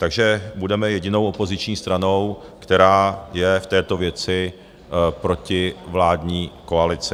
Takže budeme jedinou opoziční stranou, která je v této věci proti vládní koalici.